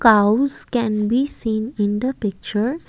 ouse can be seen in the picture.